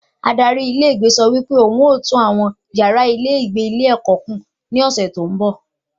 Adarí ilé ìgbé sọ wí pé wọn ó tùn àwọn yàrá ìgbé ilé ẹ̀kọ́ kùn ní ọ̀sẹ̀ tó ń bọ̀